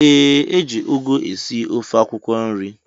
Ee eji ụgụ esị ofe akwụkwo nri.